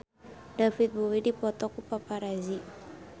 David Bowie dipoto ku paparazi